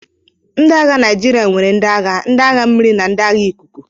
Ndị agha Naịjirịa nwere ndị agha, ndị agha mmiri na ndị agha ikuku.